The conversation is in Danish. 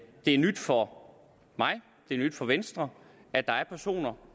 er nyt for mig og det er nyt for venstre at der er personer